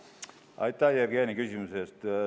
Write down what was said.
Aitäh, Jevgeni, küsimuse eest!